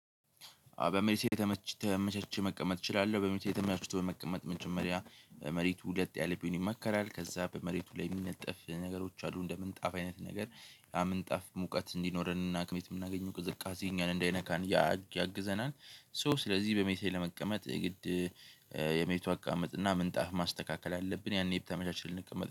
በመሬት ላይ ተመች መቀመጥ እችላለሁ። በመሬት ላይ ተመያችሁት በመቀመጥ ምንጭ መሪያ መሬት ሁለት ያለብኝን ይመከራል ከዛ በመሬቱ ላይ የሚነጠፍ ነገሮች አሉ እንደ ምንጣፍ አይነት ነገር ያ ምንጣፍ ሙቀት እንዲኖረንና ከመሬት የምናገኘው ቅዝቃዜ እኛን እንዳይነካን ያግዘናል። ሶ ስለዚህ በመቼ ለመቀመጥ የግድ የመቼው አቃመጥ እና ምንጣፍ ማስተካከል አለብን። ያኔ የተመዠመቻች ልንቀመጥ